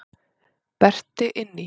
Berti inn í.